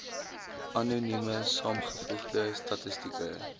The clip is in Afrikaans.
anonieme saamgevoegde statistieke